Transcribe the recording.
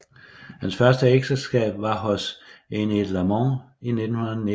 Hans første ægteskab var hos Enid Lamont i 1919